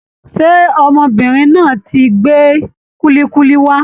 Ṣé ọmọbìnrin náà tí gbé kulikuli wá?